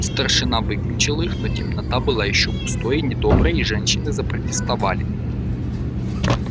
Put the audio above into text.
старшина выключил их но темнота была ещё густой и недоброй и женщины запротестовали